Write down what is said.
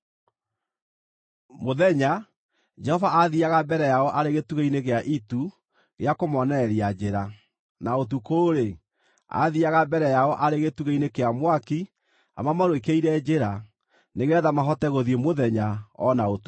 Mũthenya, Jehova aathiiaga mbere yao arĩ gĩtugĩ-inĩ gĩa itu gĩa kũmoonereria njĩra, na ũtukũ-rĩ, aathiiaga mbere yao arĩ gĩtugĩ-inĩ kĩa mwaki amamũrĩkĩire njĩra, nĩgeetha mahote gũthiĩ mũthenya o na ũtukũ.